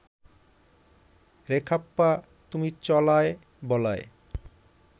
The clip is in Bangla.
বেখাপ্পা তুমি চলায় বলায়